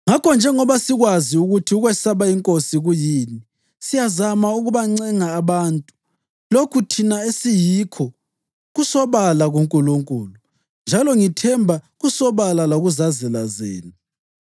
Ngakho njengoba sikwazi ukuthi ukwesaba iNkosi kuyini, siyazama ukubancenga abantu. Lokhu thina esiyikho kusobala kuNkulunkulu njalo ngithemba kusobala lakuzazela zenu.